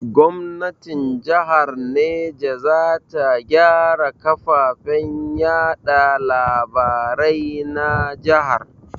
Gomnatin jahar Neja za ta gyara kafafen yaɗa labarai na jahar.